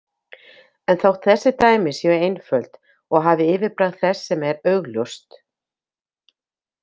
En þótt þessi dæmi séu einföld og hafi yfirbragð þess sem er augljóst.